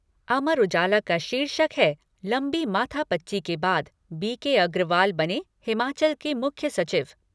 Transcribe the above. अमर उजाला का शीर्षक है लंबी माथापच्ची के बाद बी के अग्रवाल बने हिमाचल के मुख्य सचिव